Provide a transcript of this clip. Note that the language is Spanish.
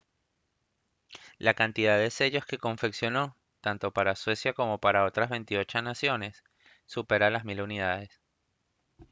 la cantidad de sellos que confeccionó tanto para suecia como para otras 28 naciones supera las mil unidades